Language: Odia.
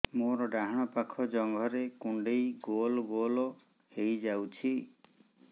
ମୋର ଡାହାଣ ପାଖ ଜଙ୍ଘରେ କୁଣ୍ଡେଇ ଗୋଲ ଗୋଲ ହେଇଯାଉଛି